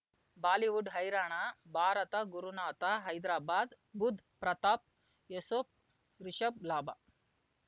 Bollywood ಹೈರಾಣ ಭಾರತ ಗುರುನಾಥ ಹೈದ್ರಾಬಾದ್ ಬುಧ್ ಪ್ರತಾಪ್ ಯೂಸುಫ್ ರಿಷಬ್ ಲಾಭ